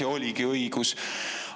Ja oligi õigus.